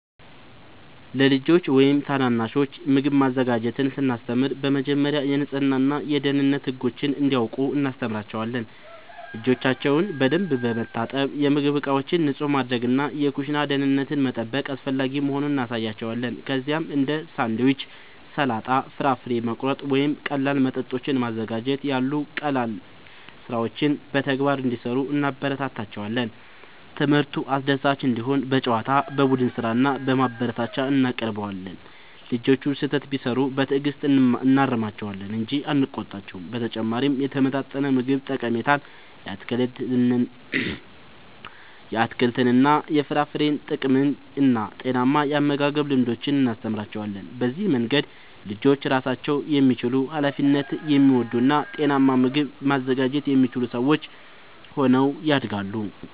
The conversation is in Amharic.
ለልጆች ወይም ታናናሾች ምግብ ማዘጋጀትን ስናስተምር በመጀመሪያ የንጽህና እና የደህንነት ህጎችን እንዲያውቁ እናስተምራቸዋለን። እጆቻቸውን በደንብ መታጠብ፣ የምግብ ዕቃዎችን ንጹህ ማድረግ እና የኩሽና ደህንነትን መጠበቅ አስፈላጊ መሆኑን እናሳያቸዋለን። ከዚያም እንደ ሳንድዊች፣ ሰላጣ፣ ፍራፍሬ መቁረጥ ወይም ቀላል መጠጦችን ማዘጋጀት ያሉ ቀላል ሥራዎችን በተግባር እንዲሠሩ እናበረታታቸዋለን። ትምህርቱ አስደሳች እንዲሆን በጨዋታ፣ በቡድን ሥራ እና በማበረታቻ እናቀርበዋለን። ልጆቹ ስህተት ቢሠሩ በትዕግሥት እናርማቸዋለን እንጂ አንቆጣቸውም። በተጨማሪም የተመጣጠነ ምግብ ጠቀሜታን፣ የአትክልትና የፍራፍሬ ጥቅምን እና ጤናማ የአመጋገብ ልምዶችን እናስተምራቸዋለን። በዚህ መንገድ ልጆች ራሳቸውን የሚችሉ፣ ኃላፊነት የሚወስዱ እና ጤናማ ምግብ ማዘጋጀት የሚችሉ ሰዎች ሆነው ያድጋሉ።